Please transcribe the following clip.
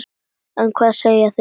En hvað segja þeir?